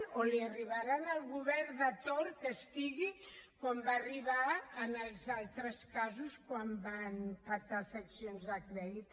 o li arribarà al govern de torn que hi hagi com va arribar en els altres casos quan van petar seccions de crèdit